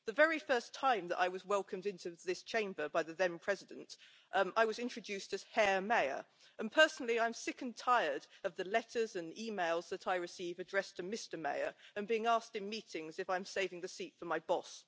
The very first time that I was welcomed into this Chamber by the then President, I was introduced as Herr Mayer, and personally I am sick and tired of the letters and emails I receive that are addressed to Mr Mayer, and of being asked in meetings if I'm saving the seat for my boss.